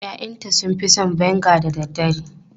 Ya'yanta sun fi son vinegar da dare.